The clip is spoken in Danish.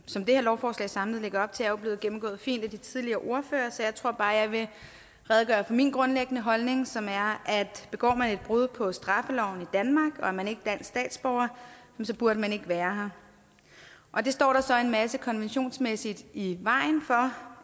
som det her lovforslag samlet lægger op til er jo blevet gennemgået fint af de tidligere ordførere så jeg tror bare jeg vil redegøre for min grundlæggende holdning som er at begår man et brud på straffeloven i danmark og er man ikke er statsborger så burde man ikke være her det står der så en masse konventionsmæssigt i vejen for